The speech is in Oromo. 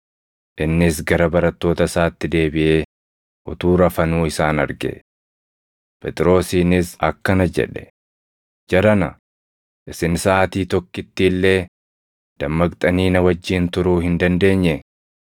Innis gara barattoota isaatti deebiʼee utuu rafanuu isaan arge. Phexrosiinis akkana jedhe; “Jarana, isin saʼaatii tokkitti illee dammaqxanii na wajjin turuu hin dandeenyee?